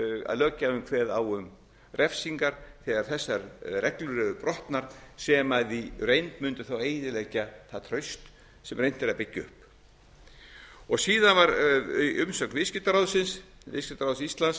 löggjafinn kveði á um refsingar þegar þessar reglur eru brotnar sem í reynd mundu þá eyðileggja það traust sem reynt er að byggja upp síðan var umsögn viðskiptaráðsins viðskiptaráðs íslands